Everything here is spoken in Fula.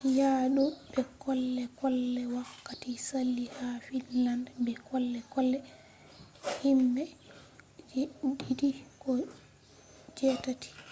ya do be kole-kole wakkati saali ha finland be kole-kole himbe je’ɗiɗi ko je’tati